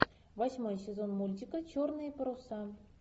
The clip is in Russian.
восьмой сезон мультика черные паруса